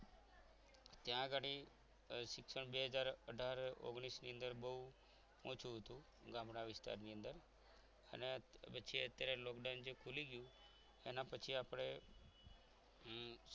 ત્યાં ઘડી શિક્ષણ બે હાજર અઢાર ઓગણીશ ની અંદર બહુ ઓછું હતું ગામડા વિસ્તારની અંદર અને પછી અત્યારે જે lockdown ખૂલી ગયું એના પછી આપણ